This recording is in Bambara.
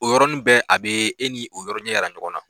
O yɔrɔnin bɛɛ a bɛ e ni o yɔrɔ ɲɛ jira ɲɔgɔn na